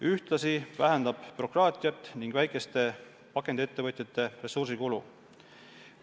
Ühtlasi vähendab see bürokraatiat ning väikeste pakendiettevõtjate ressursikulu.